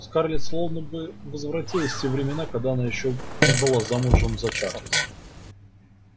скарлетт словно бы возвратилась в времена когда она ещё не была замужем за чарлзом